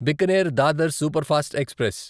Bikaner Dadar superfast express